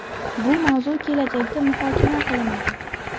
Bu mavzu kelajakda muhokama qilinadi.